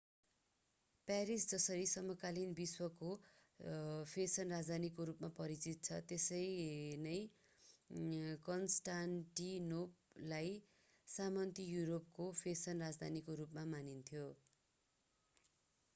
Paris जसरी समकालीन विश्वको फेसन राजधानीको रूपमा परिचित छ त्यसरी नै कन्स्टान्टिनोपलाई सामन्ती युरोपको फेसन राजधानीका रूपमा मानिन्थ्यो